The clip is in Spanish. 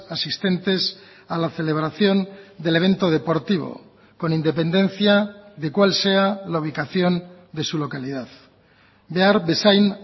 asistentes a la celebración del evento deportivo con independencia de cuál sea la ubicación de su localidad behar bezain